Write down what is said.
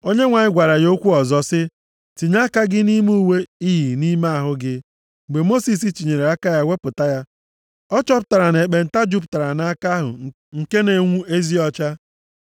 Onyenwe anyị gwara ya okwu ọzọ sị, “Tinye aka gị nʼime uwe i yi nʼime ahụ gị.” Mgbe Mosis tinyere aka ya wepụta ya, ọ chọpụtara na ekpenta jupụtara nʼaka ahụ nke na-enwu ezi ọcha.